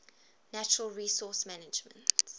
natural resource management